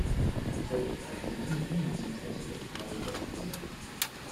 салют какие ильмы были сняты по сценарию тарантино